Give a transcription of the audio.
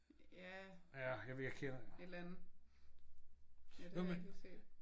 Ja et eller andet. Ja det har jeg ikke lige set